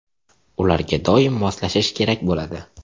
Ularga doim moslashish kerak bo‘ladi.